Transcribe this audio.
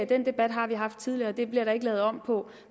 den debat har vi haft tidligere og det bliver der ikke lavet om på